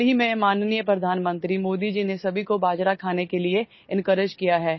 हाल ही में माननीय प्रधानमंत्री मोदी जी ने सभी को बाजरा खाने के लिए एन्कोरेज किया है